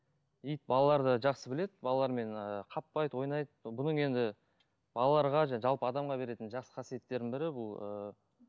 ит балаларды жақсы біледі балалармен ыыы қаппайды ойнайды бұның енді балаларға жалпы адамға беретін жақсы қасиеттерінің бірі бұл ыыы